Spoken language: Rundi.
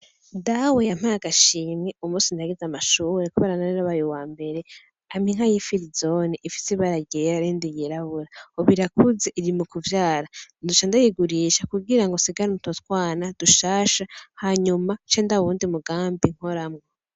Dawe yampaye agashimwe umunsi naheza amashure kubera nari nabaye uwambere amapa inka y'ifirizoni ifise ibara ryera ,n'irindi ryirabura, ubu irakuze iri mukuvyara ,nzoca ndayigurisha kugira nsigarane utwotwana dushasha hanyuma cendaba uyundi mugambi nkoramwo.